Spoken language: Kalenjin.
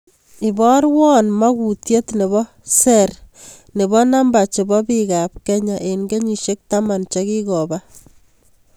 Iborwon makuutyet nebo ser nebo namba chebo biik ab kenya en kenyishek taman chekikoba